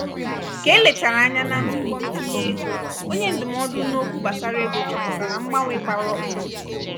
ka ele achara anya na ntụkọ ntinye ego onye ndụmọdụ n'okwu gbasara ego chọpụtara mgbanwe gbara ọkpụrụkpụ